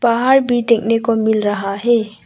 पहाड़ भी देखने को मिल रहा है।